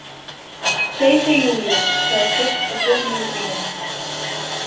Seiseijújú, sagði Steinn og tók niður grímuna.